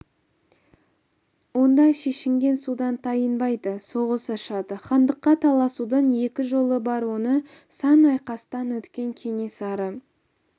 онда шешінген судан тайынбайды соғыс ашады хандыққа таласудың екі жолы бар оны сан айқастан өткен кенесары